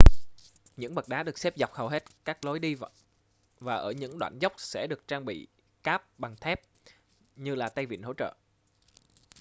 những bậc đá được xếp dọc hầu hết các lối đi và ở những đoạn dốc sẽ được trang bị cáp bằng thép như là tay vịn hỗ trợ